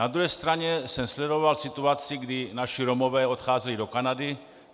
Na druhé straně jsem sledoval situaci, kdy naši Romové odcházeli do Kanady.